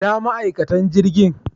Ina ma'aikatan jirgin?